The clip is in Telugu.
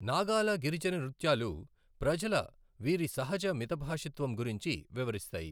నాగాల గిరిజన నృత్యాలు ప్రజల వీరి సహజ మితభాషిత్వం గురించి వివరిస్తాయి.